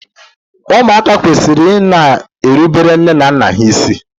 Ụmụaka kwesịrị ị na-erubere nne na nna ha isi.